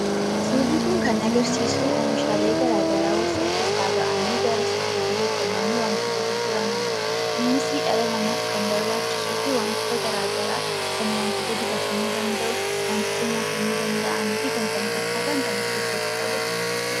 Suurri kun kan agarsiisu oomishaalee gara garaa warshaa keessaa ba'anii gara suuqiitti geeffamanii wantoota gurguramanidha. Innis dhala namaatif kan barbaachisuufi wantoota gara garaa kan wantoota dibatamuu danda'u, wantoota nyaatamuu danda'aniifi kan kana fakkaatan kan ofkeessatti qabatudha.